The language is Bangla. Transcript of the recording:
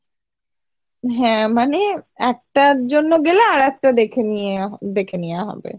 হ্যাঁ মানে একটার জন্য গেলাম আরেকটা দেখে নিয়ে দেখে নিয়া হবে